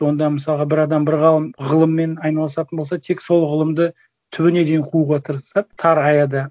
онда мысалға бір адам бір ғалым ғылыммен айналысатын болса тек сол ғылымды түбіне дейін қууға тырысады тар аяда